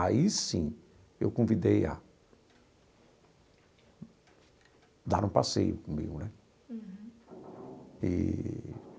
Aí, sim, eu convidei a dar um passeio comigo né. Uhum. Eee.